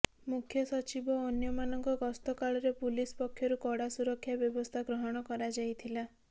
ମୁଖ୍ୟ ସଚିବ ଓ ଅନ୍ୟମାନଙ୍କ ଗସ୍ତ କାଳରେ ପୁଲିସ ପକ୍ଷରୁ କଡ଼ା ସୁରକ୍ଷା ବ୍ୟବସ୍ଥା ଗ୍ରହଣ କରାଯାଇଥିଲା